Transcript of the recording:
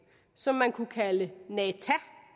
som man kunne kalde nat